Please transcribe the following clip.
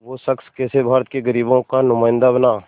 वो शख़्स कैसे भारत के ग़रीबों का नुमाइंदा बना